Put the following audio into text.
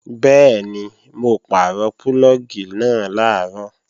Bẹ́ẹ̀ni, mo pàrọ̀ púlọ̀gì náà làárọ̀